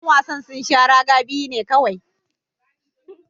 Yan wasan sun sha raga biyu ne kowai.